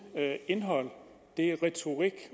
indhold det er retorik